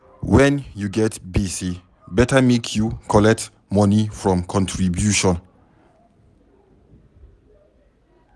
Wen you get gbese, beta make you collect moni from contribution.